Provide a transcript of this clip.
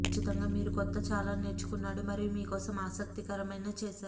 ఖచ్చితంగా మీరు కొత్త చాలా నేర్చుకున్నాడు మరియు మీ కోసం ఆసక్తికరమైన చేశారు